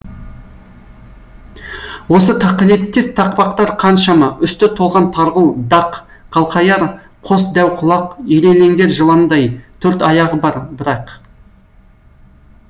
осы тақылеттес тақпақтар қаншама үсті толған тарғыл дақ қалқаяр қос дәу құлақ ирелеңдер жыландай төрт аяғы бар бірақ